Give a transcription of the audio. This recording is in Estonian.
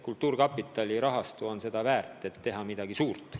Kultuurkapitali rahastu võimaldab teha midagi suurt.